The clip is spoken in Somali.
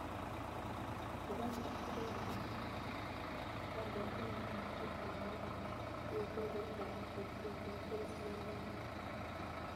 Ugaandha oo ka yimid Dubai waa kiiskii ugu horreeyay ee la xaqiijiyey ee coronavirus ee Uganda.